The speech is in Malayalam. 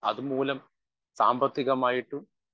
സ്പീക്കർ 1 അതുമൂലം സാമ്പത്തികമായിട്ടും